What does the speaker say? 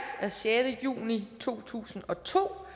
af sjette juni to tusind og to